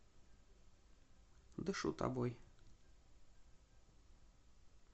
дышу тобой